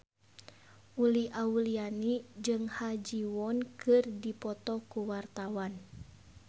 Uli Auliani jeung Ha Ji Won keur dipoto ku wartawan